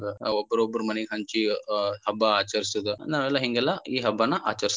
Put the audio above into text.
ಒಬ್ಬರೊಬ್ಬರ ಮನಿಗ ಹಂಚಿ ಹಬ್ಬ ಆಚರಿಸೋದ ನಾವೆಲ್ಲಾ ಹಿಂಗೆಲ್ಲಾ ಈ ಹಬ್ಬಾನ ಆಚರಿಸ್ತೇವ.